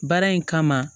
Baara in kama